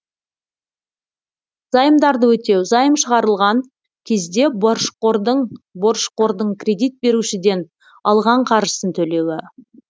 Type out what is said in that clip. заемдарды өтеу заем шығарылған кезде борышқордың кредит берушіден алған қаржысын төлеуі